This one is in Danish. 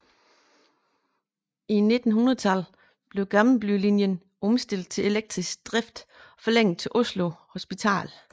I 1900 blev Gamlebylinjen omstillet til elektrisk drift og forlænget til Oslo Hospital